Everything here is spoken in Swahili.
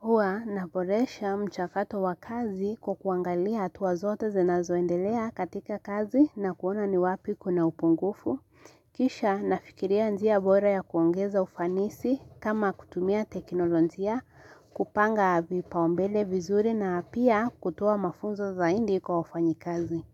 Huwa naboresha mchakato wa kazi kwa kuangalia hatua zote zinazoendelea katika kazi na kuona ni wapi kuna upungufu. Kisha nafikiria njia bora ya kuongeza ufanisi kama kutumia teknolonjia kupanga vipaombele vizuri na pia kutoa mafunzo zaindi kwa ufanyikazi.